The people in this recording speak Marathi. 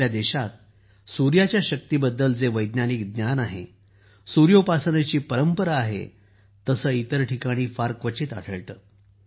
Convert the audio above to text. आपल्या देशात सूर्याच्या शक्तीबद्दल जे वैज्ञानिक ज्ञान आहे सूर्योपासनेची परंपरा आहे तसे इतर ठिकाणी फार क्वचित आढळते